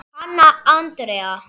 Hanna Andrea.